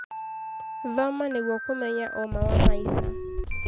Thoma nĩguo kũmenya ũma wa maica.